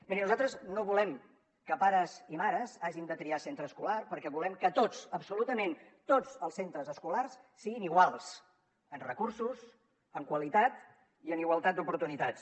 mirin nosaltres no vo·lem que pares i mares hagin de triar centre escolar perquè volem que tots absolu·tament tots els centres escolars siguin iguals en recursos en qualitat i en igualtat d’oportunitats